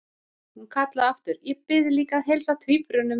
Og hún kallaði aftur: Ég bið líka að heilsa tvíburunum!